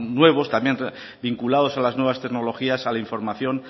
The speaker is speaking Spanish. nuevos también vinculados a las nuevas tecnologías a la información